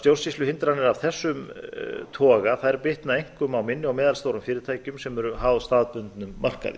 stjórnsýsluhindranir af þessu toga bitna einkum á minni og meðalstórum fyrirtækjum sem eru háð starfsbundnum markaði